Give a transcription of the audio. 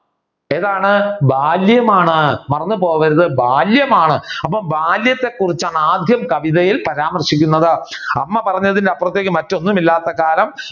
ഏതാണ് ബാല്യമാണ് മറന്നുപോകരുത് ബാല്യമാണ് അപ്പോ ബാല്യത്തെ കുറിച്ചാണ് ആദ്യം കവിതയിൽ പരാമർശിക്കുന്നത് അമ്മ പറഞ്ഞതിന് അപ്പുറം മറ്റൊന്നും ഇല്ലാത്ത കാലം